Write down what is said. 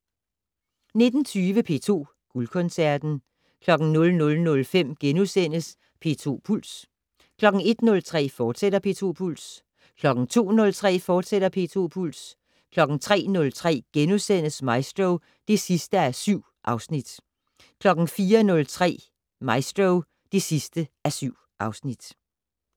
19:20: P2 Guldkoncerten 00:05: P2 Puls * 01:03: P2 Puls, fortsat 02:03: P2 Puls, fortsat 03:03: Maestro (7:7)* 04:03: Maestro (7:7)